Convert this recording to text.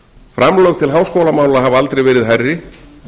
framlög til háskólamála hafa aldrei verið hærri